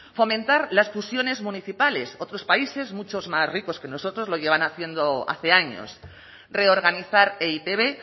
fomentar las fusiones municipales otros países muchos más ricos que nosotros lo llevan haciendo hace años reorganizar e i te be